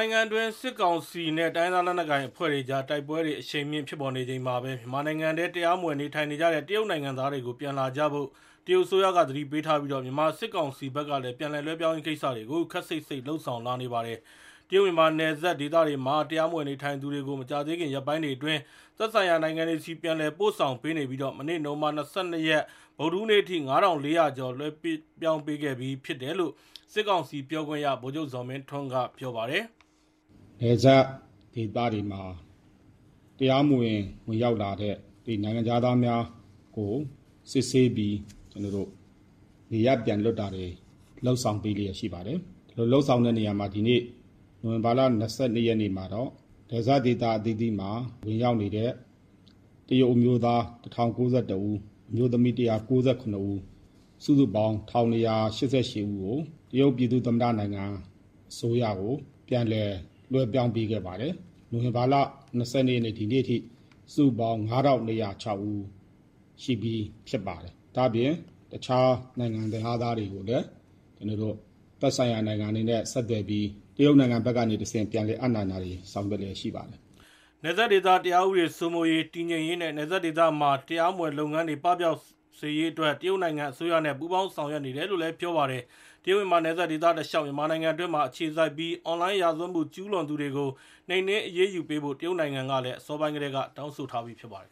ိုင်ငံအတွင်း စစ်ကောင်စီနဲ့ တိုင်းရင်းသားလက်နက်ကိုင်အဖွဲ့တွေအကြား တိုက်ပွဲတွေ အရှိန်မြင့် ဖြစ်ပေါ်နေချိန်မှာဘဲ မြန်မာနိုင်ငံထဲ တရားမဝင် နေထိုင်နေတဲ့ တရုတ်နိုင်ငံသားတွေ ပြန်လာကြဖို့ တရုတ်အစိုးရက သတိပေးထားပြီး၊ မြန်မာ စစ်ကောင်စီဘက်ကလည်း ပြန်လည်လွှဲပြောင်းရေး ကိစ္စတွေကို ခပ်စိပ်စိပ် လုပ်ဆောင်လာပါတယ်။ တရုတ်-မြန်မာနယ်စပ် ဒေသတွေမှာ တရားမဝင် နေထိုင်သူတွေကို မကြာသေးခင် ရက်ပိုင်းတွေအတွင်း သက်ဆိုင်ရာ နိုင်ငံတွေဆီ ပြန်လည် ပို့ဆောင်ပေးနေပြီး မနေ့ နိုဝင်ဘာလ ၂၂ ရက်၊ ဗုဒ္ဓဟူးနေ့အထိ ၅,၄၀၀ ကျော် လွှဲပြောင်းပေးခဲ့ပြီး ဖြစ်တယ်လို့ စစ်ကောင်စီပြောခွင့်ရ ဗိုလ်ချုပ်ဇော်မင်းထွန်းက ပြောပါတယ်။ "နယ်စပ်ဒေသတွေမှာ တရားမဝင် ဝင်ရောက်လာတဲ့ နိုင်ငံခြားသားများကို စစ်ဆေးပြီး နေရပ်ပြန်လွှတ်တာတွေ လုပ်ဆောင်ပေးလျက် ရှိပါတယ်။ ဒီလို လုပ်ဆောင်တဲ့နေရာမှာ နိုဝင်ဘာလ ၂၂ ရက်နေ့မှာတော့ နယ်စပ်ဒေသ အသီးသီးမှာ ဝင်ရောက်နေတဲ့ တရုတ်အမျိုးသား ၁,၀၉၁ ဦး၊ အမျိုးသမီး ၁၉၇ ဦး၊ စုစုပေါင်း ၁,၂၈၈ ဦးကို တရုတ်ပြည်သူ့ သမ္မတနိုင်ငံ အစိုးရကို ပြန်လည်လွှဲပြောင်း ပေးခဲ့ပါတယ်။ နိုဝင်ဘာလ ၂၂ ရက်နေ့အထိ စုစုပေါင်း ၅,၄၀၆ ဦး ရှိပြီးဖြစ်ပါတယ်။ ဒါ့အပြင် တခြား နိုင်ငံခြားသားတွေကိုလည်း သက်ဆိုင်ရာနိုင်ငံတွေနဲ့ ဆက်သွယ်ပြီး တရုတ်နိုင်ငံကနေတဆင့် ပြန်လည်အပ်နှံတာတွေ ဆောင်ရွက်လျက်ရှိပါတယ်။" နယ်စပ်ဒေသ တရားဥပဒေ စိုးမိုးရေး၊ တည်ငြိမ်ရေးနဲ့ နယ်စပ်ဒေသမှာ တရားမဝင်လုပ်ငန်းတွေ ပပျောက်စေရေးအတွက် တရုတ်နိုင်ငံ အစိုးရနဲ့ ပူးပေါင်းဆောင်ရွက်နေတယ်လို့ ပြောပါတယ်။ တရုတ်-မြန်မာနယ်စပ်ဒေသတလျှောက် မြန်မာနိုင်ငံအတွင်းမှာ အခြေစိုက်ပြီး အွန်လိုင်း ရာဇဝတ်မှုကျူးလွန်သူတွေကို နှိမ်နှင်း အရေးယူပေးဖို့ တရုတ်နိုင်ငံကလည်း အစောပိုင်းကတည်းက တောင်းဆိုထားပြီး ဖြစ်ပါတယ်